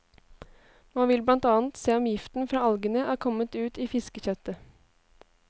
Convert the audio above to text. Man vil blant annet se om giften fra algene er kommet ut i fiskekjøttet.